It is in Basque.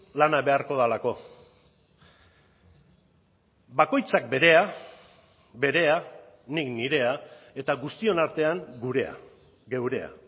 lana beharko delako bakoitzak berea berea nik nirea eta guztion artean gurea geurea